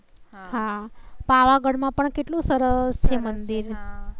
હા પાવાગઢ માં પણ કેટલું સરસ છે મંદિર.